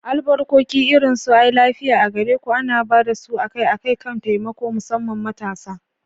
Albarkoki irin su "Ai lafiya a gare ku" ana ba da su akai-akai kan taimako, musamman matasa.